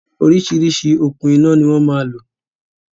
Oríṣiríṣi okùn iná ni wọn máa lò